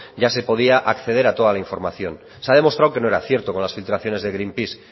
ya se podía acceder a toda la información se ha demostrado que no era cierto con las filtraciones de greenpeace